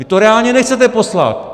Vy to reálně nechcete poslat.